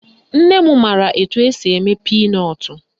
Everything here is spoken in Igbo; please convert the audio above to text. Nne m mara etu esi eme pinọtụ